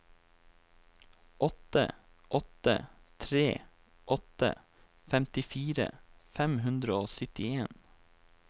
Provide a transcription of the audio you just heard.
åtte åtte tre åtte femtifire fem hundre og syttien